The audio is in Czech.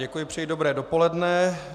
Děkuji, přeji dobré dopoledne.